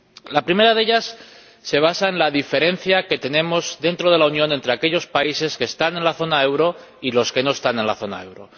El primero de ellos se basa en la diferencia dentro de la Unión entre aquellos países que están en la zona del euro y los que no están en la zona del euro.